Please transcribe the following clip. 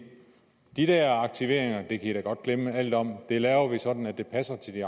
de der aktiveringer kan i da godt glemme alt om det laver vi sådan at det passer til de